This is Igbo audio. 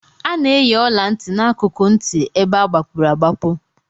A na-eyi ọla ntị n'akụkụ ntị ebe agbapụrụ agbapu